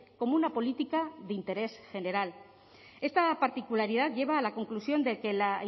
como una política de interés general esta particularidad lleva a la conclusión de que la